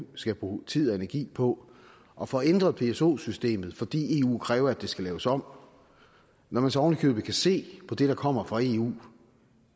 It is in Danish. skal bruge tid og energi på at få ændret pso systemet fordi eu kræver at det skal laves om når man så oven i købet kan se på det der kommer fra eu